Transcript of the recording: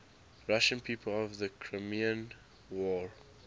russian people of the crimean war